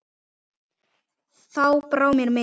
Þá brá mér mikið